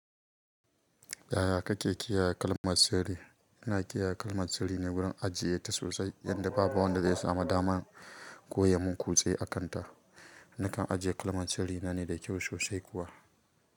Yaya kake kiyaye kalmar tsiri? Ina kiyaye kalmar tsiri ne wurin ajiye ta sosai, yanda babu wanda zai samu damar ko ya mun kuce a kanta. Nakan ajiye kalmar tsari na ne da kyau sosai kuwa.